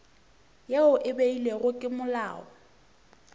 ye e beilwego ke molao